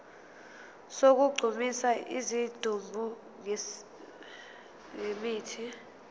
sokugqumisa isidumbu ngemithi